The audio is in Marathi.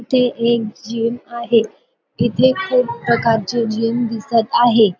तिथे एक जीम आहे तिथे खूप प्रकारचे जीम दिसत आहे.